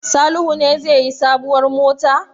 Salihu ne zai yi sabuwar mota?